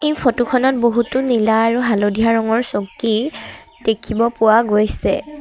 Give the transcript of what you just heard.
এই ফটো খনত বহুতো নীলা আৰু হালধীয়া ৰঙৰ চকী দেখিব পোৱা গৈছে।